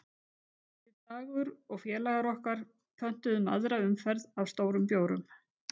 Við Dagur og félagar okkar pöntum aðra umferð af stórum bjórum